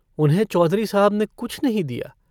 उन्हें चौधरी साहब ने कुछ नहीं दिया।